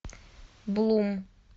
блум